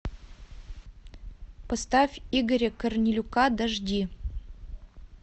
поставь игоря корнелюка дожди